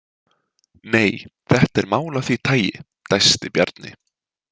Nei, þetta er mál af því tagi, dæsti Bjarni.